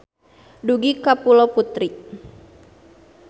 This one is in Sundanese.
Dugi ka Pulo Putri.